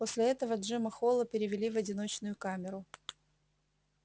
после этого джима холла перевели в одиночную камеру